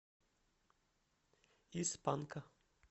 из панка